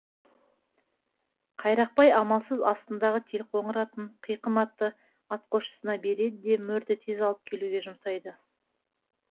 қайрақбай амалсыз астындағы телқоңыр атын қиқым атты атқосшысына береді де мөрді тез алып келуге жұмсайды